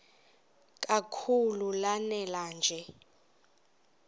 kakhulu lanela nje